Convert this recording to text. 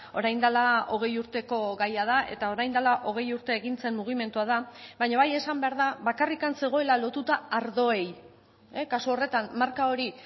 orain dela hogei urteko gaia da eta orain dela hogei urte egin zen mugimendua da baina bai esan behar da bakarrik zegoela lotuta ardoei kasu horretan marka hori